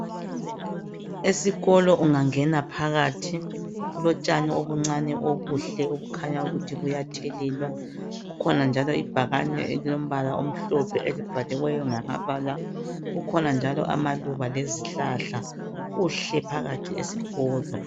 Esikolo ungangena phakathi kulotshani obuncani obuhle obukhanyayo ukuthi buyathelelwa, kukhona njalo ibhakane elilombala omhlophe elibhaliweyo ngamabala, kukhona njalo amaluba lezihlahla kuhle phakathi esikolo.